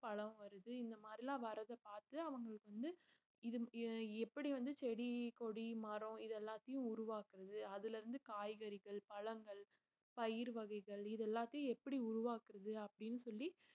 பழம் வருது இந்த மாதிரிலாம் வர்றதை பார்த்து அவங்களுக்கு வந்து இது அஹ் எப்படி வந்து செடி கொடி மரம் இது எல்லாத்தையும் உருவாக்குறது அதுல இருந்து காய்கறிகள் பழங்கள் பயிர் வகைகள் இது எல்லாத்தையும் எப்படி உருவாக்குறது அப்படின்னு சொல்லி